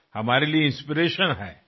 आमच्यासाठी फार मोठी प्रेरणा आहे